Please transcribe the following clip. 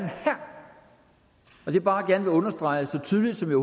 og det jeg bare gerne vil understrege så tydeligt som jeg